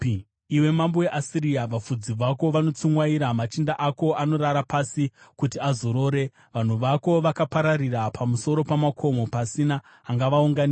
Iwe mambo weAsiria, vafudzi vako vanotsumwaira; machinda ako anorara pasi kuti azorore. Vanhu vako vakapararira pamusoro pamakomo pasina angavaunganidza.